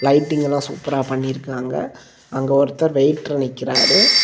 Lighting எல்லாம் சூப்பரா பண்ணி இருக்காங்க அங்க ஒருத்தர் வெயிட்டர் நிக்கிறாரு.